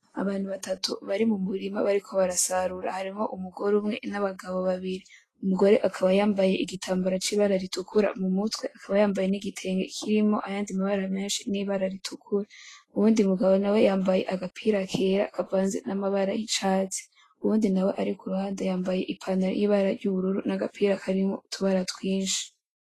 Abantu batatu bari mu murima bariko barasarura. Harimwo umugore umwe n‘ abagabo babiri, umugore akaba yambaye igitambara c‘ibara ritukura mu mutwe, akaba yambaye n‘ igitenge kirimwo ayandi mabara menshi y‘ ibara ritukura. Uwundi mugabo nawe yambaye agapira kera kavanze n‘ amabara y‘ urwatsi rubisi, uwundi nawe ari kuruhande yambaye i pantaro y‘ ibara nagapira karimwo utubara twinshi .